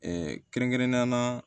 kɛrɛnkɛrɛnnenya la